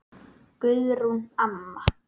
Guðrún amma.